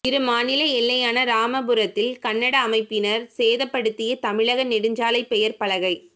இரு மாநில எல்லையான ராமபுரத்தில் கன்னட அமைப்பினா் சேதப்படுத்திய தமிழக நெடுஞ்சாலை பெயா் பலகை